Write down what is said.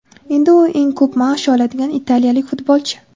Endi u eng ko‘p maosh oladigan italiyalik futbolchi.